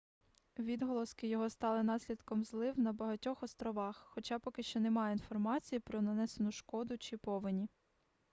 відголоски його стали наслідком злив на багатьох островах хоча поки що немає інформації про нанесену шкоду чи повені